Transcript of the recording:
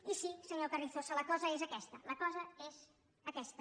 i sí senyor carrizosa la cosa és aquesta la cosa és aquesta